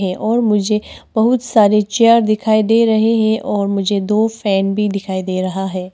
और मुझे बहुत सारे चेयर दिखाई दे रहे है और मुझे दो फैन भी दिखाई दे रहा है।